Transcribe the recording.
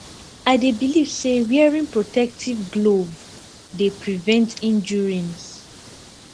i dey believe say wearing protective glove dey prevent injuries